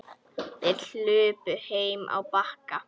Þær hlupu heim á Bakka.